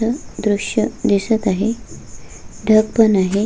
न दृश्य दिसत आहे ढग पण आहे.